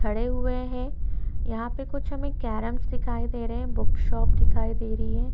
खड़े हुए हैं यहाँ पर कुछ हमें चारों दिखाई दे रहै हैं बुक शॉप दिखाई दे रही है।